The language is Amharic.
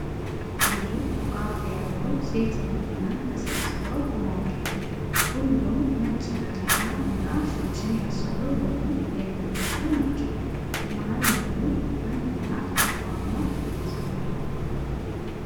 ብዙ ጧፍ የያዙ ሴት መመናን ተሰብስበው ቆመዋል። ሁሉም ነጭ ነጠላ እና ሻሽን ያሰሩ ወይም የለበሱ ናቸው። መሃል ላይም አንድ እናት መቋሚያ ይዘዋል።